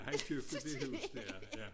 Han skal jo flytte i det hus dér ja